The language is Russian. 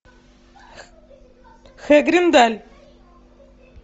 хэгриндаль